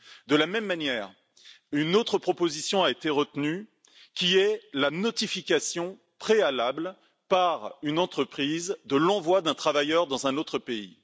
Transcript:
De la même manière, une autre proposition a été retenue la notification préalable par une entreprise de l'envoi d'un travailleur dans un autre pays.